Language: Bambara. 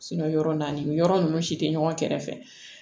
yɔrɔ naani yɔrɔ ninnu si tɛ ɲɔgɔn kɛrɛfɛ